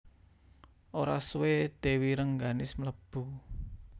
Ora suwé Dèwi Rengganis mlebu